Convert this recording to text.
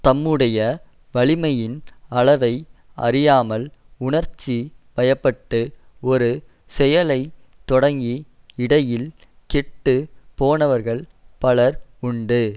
தம்முடைய வலிமையின் அளவை அறியாமல் உணர்ச்சி வயப்பட்டு ஒரு செயலை தொடங்கி இடையில் கெட்டு போனவர்கள் பலர் உண்டு